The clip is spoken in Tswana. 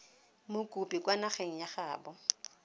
mokopi kwa nageng ya gaabo